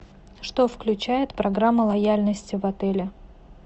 что включает программа лояльности в отеле